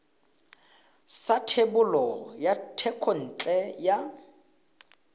sa thebolo ya thekontle ya